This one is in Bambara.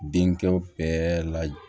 Denkɛw bɛɛ laj